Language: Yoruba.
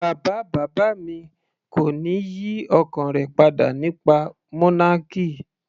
Bàbá bàbá mi kò ní yí ọkàn rẹ̀ padà nípa monarchy.